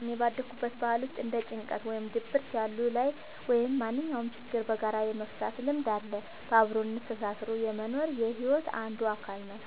እኔ ባደኩበት ባህል ውስጥ እንደ ጭንቀት ወይም ድብርት ያሉ ላይ ወይም ማንኛውም ችግሮችን በጋራ የመፍታት ልምድ አለ። በአብሮነት ተሳስሮ መኖር የሒወት አንዱ አካል ነው።